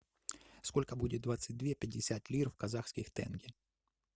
сколько будет двадцать две пятьдесят лир в казахских тенге